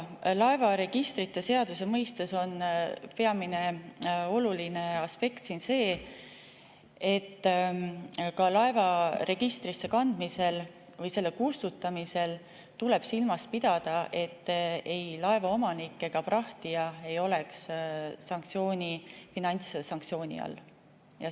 Laevaregistrite seaduse mõistes on peamine oluline aspekt siin see, et ka laeva registrisse kandmisel või selle sealt kustutamisel tuleb silmas pidada, et ei laeva omanik ega prahtija ei oleks finantssanktsiooni all.